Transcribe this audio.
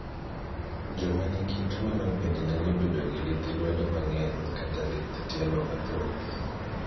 Joma nigi tuwono bende nyalo bedo gi lith lwedo mang'eny kata lith tielo mathoth